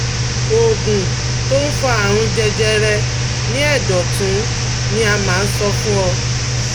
Oògùn tó ń fa àrùn jẹjẹrẹ ní ẹ̀dọ̀ ọ̀tún ni a máa ń sọ fún ọ